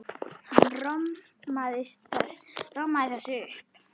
Hann romsaði þessu upp.